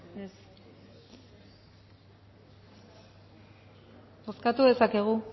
bai bozkatu dezakegu